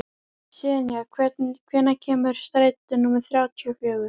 Senía, hvenær kemur strætó númer þrjátíu og fjögur?